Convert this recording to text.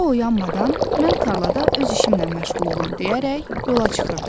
O oyanmadan mən tarlada öz işimlə məşğul olum deyərək yola çıxırdı.